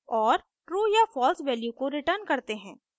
और ट्रू या false value को रिटर्न करते हैं